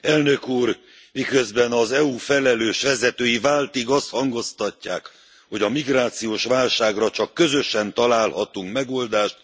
Elnök Úr, miközben az EU felelős vezetői váltig azt hangoztatják, hogy a migrációs válságra csak közösen találhatunk megoldást